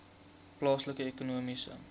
plaaslike ekonomiese